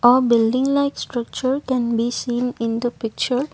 a building like structure can be seen in the picture.